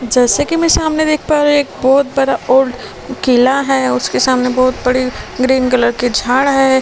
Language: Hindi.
जैसे कि मैं सामने देख पा रही एक बहुत बड़ा ओल्ड किला है उसके सामने बहुत बड़ी ग्रीन कलर की झाड़ है।